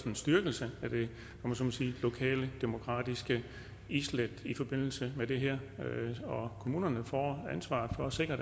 en styrkelse af det lokale demokratiske islæt i forbindelse med det her og kommunerne får ansvaret for at sikre